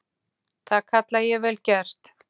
Það kalla ég vel gert.